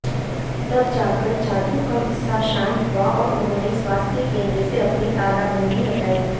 तब जाकर छात्रो का गुस्सा शांत हुआ और उन्होंने स्वास्थ्य केंद्र से अपनी तालाबंदी हटाई